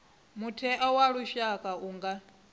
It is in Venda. mutheo wa lushaka u nga